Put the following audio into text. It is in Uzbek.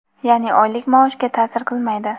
yaʼni oylik maoshga taʼsir qilmaydi.